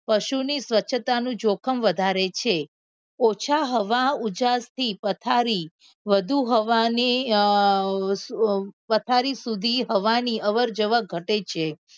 પશુની સ્વચ્છતા નું જોખમ વધારે છે ઓછા હવા ઉજાસથી પથારી વધુ હવાને પથારી સુધી હવાની અસર ઘટે છે.